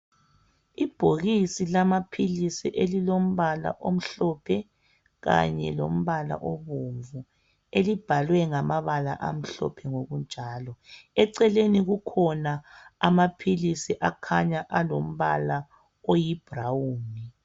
Ibhokisi lamaphilisi elilompala omhlophe kanye lompala obomvu elibhalwe ngamabala amhlophe ngokunjalo. Eceleni kukhona amaphilisi akhanya alompala oyi brown.